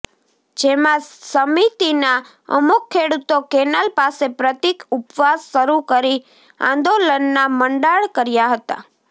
જેમાં સમિતિના અમુક ખેડુતો કેનાલ પાસે પ્રતિક ઉપવાસ શરૂ કરી આંદોલનના મંડાણ કર્યા હતા